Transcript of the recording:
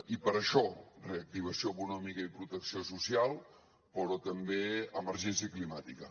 i per això reactivació econòmica i protecció social però també emergència climàtica